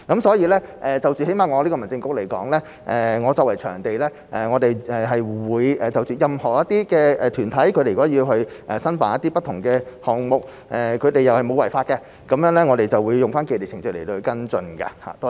所以，最低限度在我們民政事務局而言，作為場地管理部門，任何團體如果要申辦不同的項目，只要沒有違法，我們就會按照既定程序來跟進。